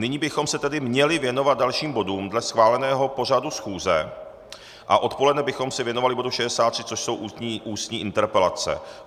Nyní bychom se tedy měli věnovat dalším bodům dle schváleného pořadu schůze a odpoledne bychom se věnovali bodu 63, což jsou ústní interpelace.